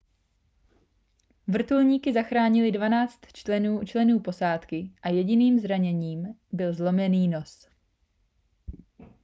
vrtulníky zachránily 12 členů posádky a jediným zraněním byl zlomený nos